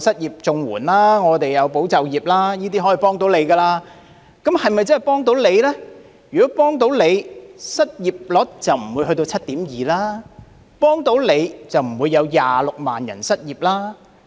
如果可以"幫到你"，失業率就不會上升到 7.2% 了，如果真的"幫到你"，就不會有26萬人失業了。